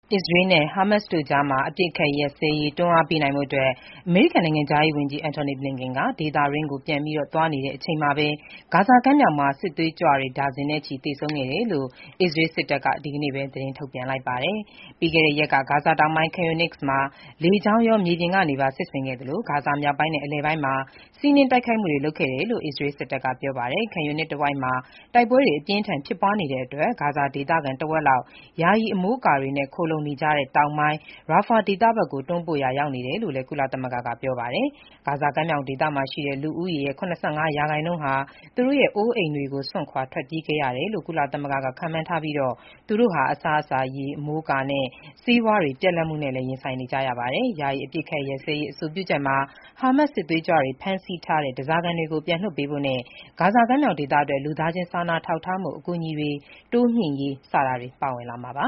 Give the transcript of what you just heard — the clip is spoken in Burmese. အစ္စရေးနဲ့ ဟာမတ်စ်တို့ကြား အပစ်အခတ် ရပ်စဲရေး တွန်းအားပေးနိုင်ဖို့ အမေရိကန် နိုင်ငံခြားရေးဝန်ကြီး Antony Blinken ဒေသတွင်းကို ပြန်သွားနေချိန်မှာပဲ၊ ဂါဇာကမ်းမြောင်မှာ စစ်သွေးကြွ ဒါဇင်နဲ့ချီ သေဆုံးခဲ့တယ်လို့ အစ္စရေးစစ်တပ်က ဒီနေ့ပဲ သတင်းထုတ်ပြန်လိုက်ပါတယ်။ ပြီးခဲ့တဲ့ရက်က ဂါဇာတောင်ပိုင်း Khan Younis မှာ လေကြောင်းရော မြေပြင်ကနေပါ စစ်ဆင်ခဲ့သလို၊ ဂါဇာမြောက်ပိုင်းနဲ့ အလယ်ပိုင်းမှာ စီးနင်းတိုက်ခိုက်မှုတွေ လုပ်ခဲ့တယ်လို့ အစ္စရေးစစ်တပ်က ပြောပါတယ်။ Khan Younis တဝိုက်မှာ တိုက်ပွဲတွေ အပြင်းအထန် ဖြစ်ပွားနေတာကြောင့် ဂါဇာဒေသခံ တဝက်လောက် ယာယီအမိုးအကာတွေနဲ့ ခိုလှုံနေကြတဲ့ တောင်ပိုင်း Rafah ဘက်ကို တွန်းပို့ရာရောက်နေတယ်လို့လည်း ကုလသမဂ္ဂက ပြောပါတယ်။ ဂါဇာကမ်းမြောင်ဒေသရှိ လူဦးရေရဲ့ ၇၅ ရာခိုင်နှုန်းဟာ သူတို့ရဲ့ အိုးအိမ်တွေကို စွန့်ခွာထွက်ပြေးခဲ့ရတယ်လို့ ကုလသမဂ္ဂက ခန့်မှန်းထားပြီး၊ သူတို့ဟာ အစားအစာ၊ ရေ၊ အမိုးအကာနဲ့ ဆေးဝါးများ ပြတ်လပ်မှုတွေနဲ့လည်း ရင်ဆိုင်နေကြရတယ်လို့ ပြောပါတယ်။ ယာယီ အပစ်အခတ် ရပ်စဲရေး အဆိုပြုချက်မှာ ဟာမတ်စ် စစ်သွေးကြွတွေ ဖမ်းဆီးထားတဲ့ ဓားစာခံတွေကို လွှတ်ပေးဖို့နဲ့ ဂါဇာကမ်းမြောင်ဒေသအတွက် လူသားချင်းစာနာထောက်ထားမှု အကူအညီတွေ တိုးမြှင့်ရေး စတာတွေ ပါဝင်လာမှာပါ